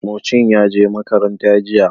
Mucin ya je makaranta jiya.